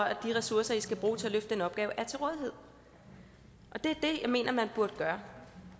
at de ressourcer de skal bruge til at løfte den opgave er til rådighed og det er det jeg mener man burde gøre